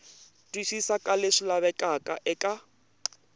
twisisa ka leswi lavekaka eka